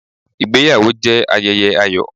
Ìgbéyàwó jẹ́ ayẹyẹ ayọ̀.